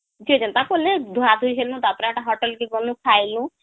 ଯିଏ ଯେନ୍ତା କନୁ ଧୁଆ ଧୁଇ ହେଲୁ ତାପରେ ହେଟା hotel କେ ଗ୍ନୁ , ଖାଇଲୁ